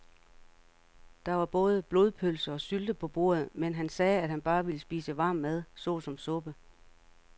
Der var både blodpølse og sylte på bordet, men han sagde, at han bare ville spise varm mad såsom suppe.